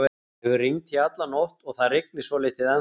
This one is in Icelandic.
Það hefur rignt í alla nótt og það rignir svolítið ennþá.